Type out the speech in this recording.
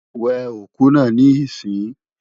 We òkú náà níìsín!